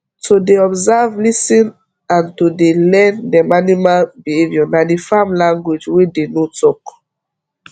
to dey observe lis ten and to dey learn dem animal behaviour na the farm language wey dey no talk